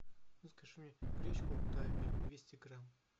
закажи мне гречку тайпи двести грамм